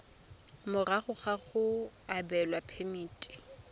morago ga go abelwa phemiti